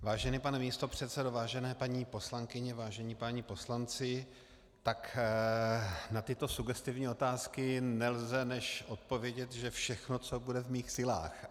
Vážený pane místopředsedo, vážené paní poslankyně, vážení páni poslanci, tak na tyto sugestivní otázky nelze než odpovědět, že všechno, co bude v mých silách.